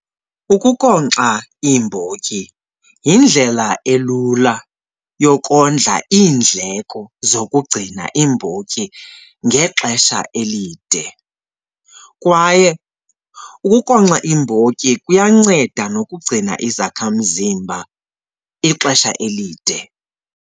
Ukunkonkxa iimbotyi yindlela elula yokondla iindleko zokugcina iimbotyi ngexesha elide kwaye ukunkonkxa iimbotyi kuyanceda nokugcina izakhamzimba ixesha elide.